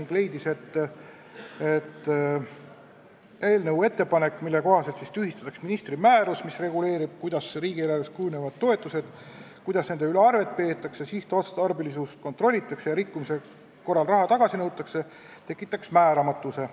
Ta leidis, et eelnõu ettepanek, mille kohaselt tühistatakse ministri määrus, mis reguleerib, kuidas riigieelarves toetused kujunevad, kuidas nende üle arvet peetakse ja sihtotstarbelisust kontrollitakse ning rikkumise korral raha tagasi nõutakse, tekitaks määramatuse.